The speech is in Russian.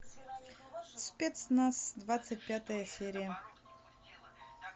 спецназ двадцать пятая серия